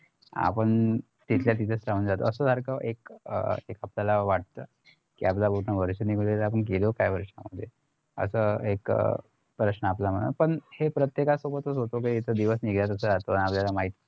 आपण तिथल्या तिथेच राहून जातो असं सारखं एक आपल्याला वाटत कि आपलं पूर्ण वर्ष निघून गेलं आपण केलो काय वर्षामध्ये आता एक प्रश्न आपल्या मनात पण हे प्रत्येका सोबतच होत कि येत दिवस निघतंच राहतो